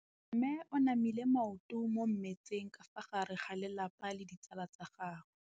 Mme o namile maoto mo mmetseng ka fa gare ga lelapa le ditsala tsa gagwe.